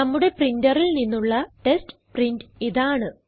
നമ്മുടെ പ്രിന്ററിൽ നിന്നുള്ള ടെസ്റ്റ് പ്രിന്റ് ഇതാണ്